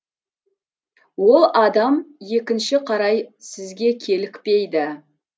ол адам екінші қарай сізге кейлікпейді